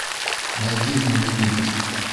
найди знаменитость